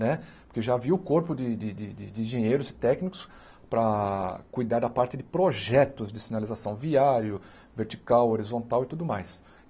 Né porque já havia o corpo de de de engenheiros e técnicos para cuidar da parte de projetos de sinalização viário, vertical, horizontal e tudo mais.